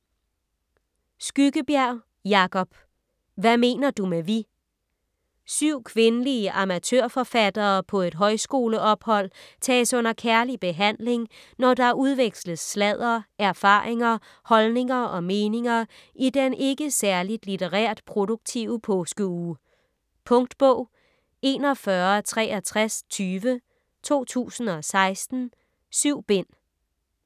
Skyggebjerg, Jacob: Hvad mener du med vi Syv kvindelige amatørforfattere på et højskoleophold tages under kærlig behandling, når der udveksles sladder, erfaringer, holdninger og meninger i den ikke særligt litterært produktive påskeuge. Punktbog 416320 2016. 7 bind.